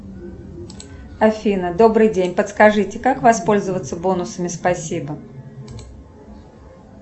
афина добрый день подскажите как воспользоваться бонусами спасибо